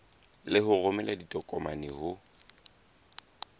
le ho romela ditokomane ho